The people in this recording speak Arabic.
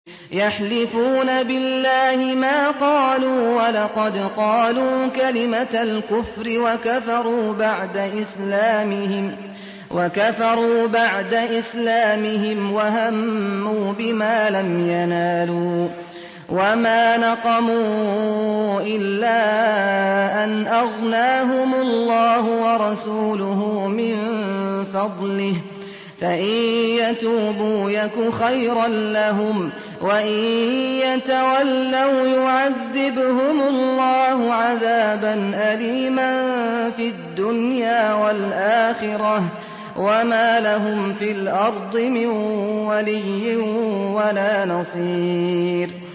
يَحْلِفُونَ بِاللَّهِ مَا قَالُوا وَلَقَدْ قَالُوا كَلِمَةَ الْكُفْرِ وَكَفَرُوا بَعْدَ إِسْلَامِهِمْ وَهَمُّوا بِمَا لَمْ يَنَالُوا ۚ وَمَا نَقَمُوا إِلَّا أَنْ أَغْنَاهُمُ اللَّهُ وَرَسُولُهُ مِن فَضْلِهِ ۚ فَإِن يَتُوبُوا يَكُ خَيْرًا لَّهُمْ ۖ وَإِن يَتَوَلَّوْا يُعَذِّبْهُمُ اللَّهُ عَذَابًا أَلِيمًا فِي الدُّنْيَا وَالْآخِرَةِ ۚ وَمَا لَهُمْ فِي الْأَرْضِ مِن وَلِيٍّ وَلَا نَصِيرٍ